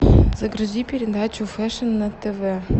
загрузи передачу фэшн на тв